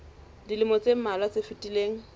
dilemong tse mmalwa tse fetileng